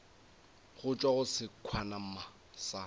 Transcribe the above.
go tšwa go sekhwama sa